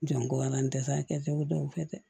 Jango an tɛ se ka kɛ u bɛ dɔw kɛ dɛ